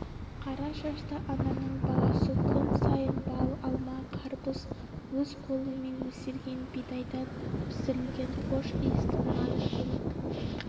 қара шашты ананың баласы күн сайын бал алма қарбыз өз қолымен өсірген бидайдан пісірілген хош иісті нан әкеліп